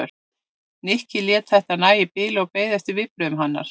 Nikki lét þetta nægja í bili og beið eftir viðbrögðum hennar.